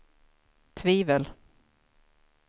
tvivel